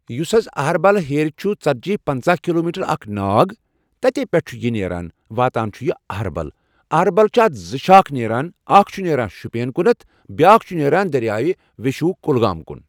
یُس حظ أہربل ہیرِ چھُ ژتجی پنٛژہ کِلوٗ میٖٹر اکھ ناگ تتی پٮ۪ٹھٕ چھُ یہِ نیران واتان چھُ یہِ أہربل۔ أہربل چھِ اتھ زٕ شاخ نیران اکھ چھُ نیران شُپین کُنتھ بیاکھ چھُ نیران دٔریاے وٮ۪شوٗ کۄلگوم کُن۔